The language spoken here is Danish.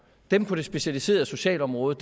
dem på det specialiserede socialområde